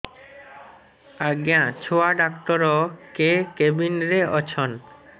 ଆଜ୍ଞା ଛୁଆ ଡାକ୍ତର କେ କେବିନ୍ ରେ ଅଛନ୍